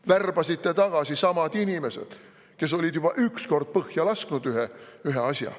Värbasite tagasi samad inimesed, kes olid juba üks kord põhja lasknud ühe asja.